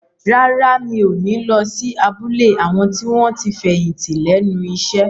Rárá, mi ò ní lọ sí abúlé àwọn tí wọ́n ti fẹ̀yìntì lẹ́nu iṣẹ́